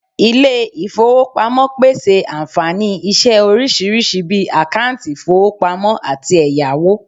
ile ifowopamopese anfani ise orisirisi bii akanti ifowopamo ati eyawo